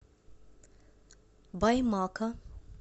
баймака